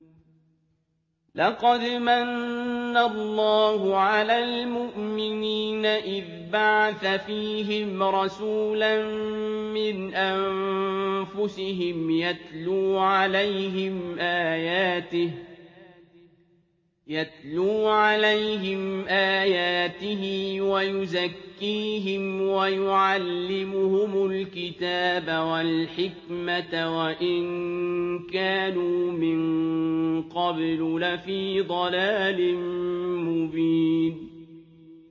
لَقَدْ مَنَّ اللَّهُ عَلَى الْمُؤْمِنِينَ إِذْ بَعَثَ فِيهِمْ رَسُولًا مِّنْ أَنفُسِهِمْ يَتْلُو عَلَيْهِمْ آيَاتِهِ وَيُزَكِّيهِمْ وَيُعَلِّمُهُمُ الْكِتَابَ وَالْحِكْمَةَ وَإِن كَانُوا مِن قَبْلُ لَفِي ضَلَالٍ مُّبِينٍ